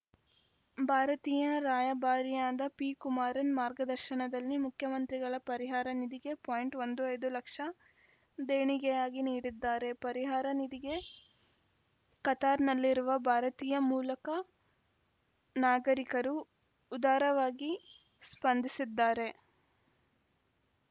ಭಾರತೀಯ ರಾಯಭಾರಿಯಾದ ಪಿಕುಮಾರನ್‌ ಮಾರ್ಗದರ್ಶನದಲ್ಲಿ ಮುಖ್ಯಮಂತ್ರಿಗಳ ಪರಿಹಾರ ನಿಧಿಗೆ ಪಾಯಿಂಟ್ ಒಂದು ಐದು ಲಕ್ಷ ದೇಣಿಗೆಯಾಗಿ ನೀಡಿದ್ದಾರೆ ಪರಿಹಾರ ನಿಧಿಗೆ ಕತಾರ್‌ನಲ್ಲಿರುವ ಭಾರತೀಯ ಮೂಲಕ ನಾಗರಿಕರು ಉದಾರವಾಗಿ ಸ್ಪಂದಿಸಿದ್ದಾರೆ